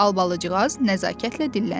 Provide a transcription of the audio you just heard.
Albalıcığaz nəzakətlə dilləndi.